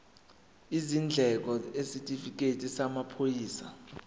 izindleko isitifikedi samaphoyisa